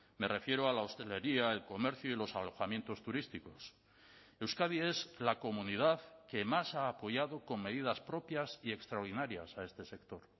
me refiero a la hostelería el comercio y los alojamientos turísticos euskadi es la comunidad que más ha apoyado con medidas propias y extraordinarias a este sector